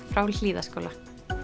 frá Hlíðaskóla